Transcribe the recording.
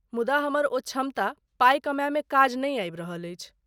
मुदा, हमर ओ क्षमता पाई कमायमे काज नहि आबि रहल अछि।